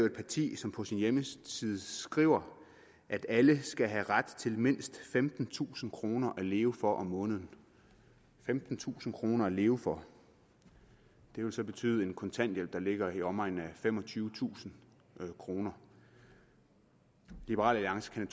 et parti som på sin hjemmeside skriver at alle skal have ret til mindst femtentusind kroner at leve for om måneden femtentusind kroner at leve for det vil så betyde en kontanthjælp der ligger i omegnen af femogtyvetusind kroner liberal alliance kan